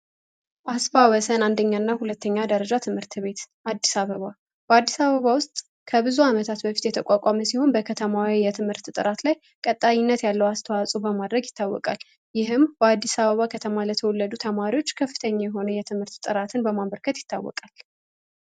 አስፋ ወሰን አንደኛ እና ሁለተኛ ደረጃ ትምህርት ቤት አዲሳ በባ በአዲስ አበባ ውስጥ ከብዙ ዓመታት በፊት የተቋቋመ ሲሆን በከተማዊ የትምህርት ጥራት ላይ ቀጣይነት ያለው አስተዋጹ በማድረግ ይታወቃል። ይህም በአዲስ አበባ ከተማ ለተወለዱ ተማሪዎች ክፍተኛ የሆነ የትምህርት ጥራትን በማንበርከት ይታወቃል።